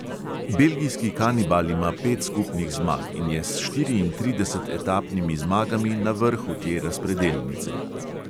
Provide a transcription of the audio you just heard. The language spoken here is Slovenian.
Belgijski kanibal ima pet skupnih zmag in je s štiriintrideset etapnimi zmagami na vrhu te razpredelnice.